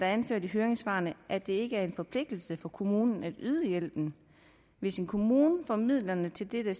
anført i høringssvarene at det ikke er en forpligtelse for kommunen at yde hjælpen hvis en kommune får midlerne til dette